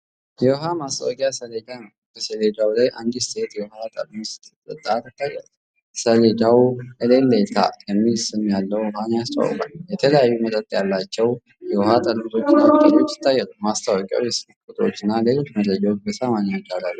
የውሃ ማስታወቂያ ሰሌዳ ነው። በሰሌዳው ላይ አንዲት ሴት የውሃ ጠርሙስ ስትጠጣ ትታያለች። ሰሌዳው "ኤሌሌታ" የሚል ስም ያለው ውሃን ያስተዋውቃል። የተለያዩ መጠን ያላቸው የውሃ ጠርሙሶችና ቅጠሎች ይታያሉ። ማስታወቂያው የስልክ ቁጥሮችንና ሌሎች መረጃዎችን በሰማያዊ ዳራ ላይ ያሳያል።